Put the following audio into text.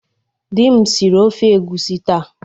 Di m siri ofe egwusi taa.